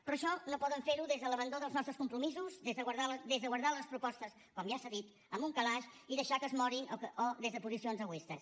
però això no poden fer ho des de l’abandó dels nostres compromisos des de guardar les propostes com ja s’ha dit en un calaix i deixar que es morin o des de posicions egoistes